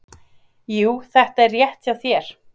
"""Jú, þetta er rétt hjá þér."""